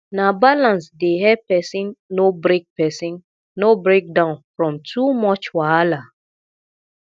na balance dey help person no break person no break down from too much wahala